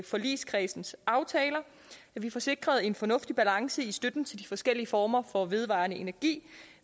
forligskredsens aftaler får sikret en fornuftig balance i støtten til de forskellige former for vedvarende energi